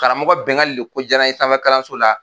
Karamɔgɔ Bɛngali de ko jara n ye safɛ kalanso la